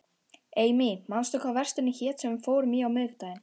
Amy, manstu hvað verslunin hét sem við fórum í á miðvikudaginn?